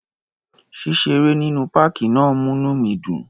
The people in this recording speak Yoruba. Ṣíṣeré nínú páàkì náà múní mi dùn.